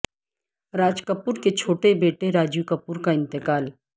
راج کپور کے چھوٹے بیٹے راجیو کپور کا انتقال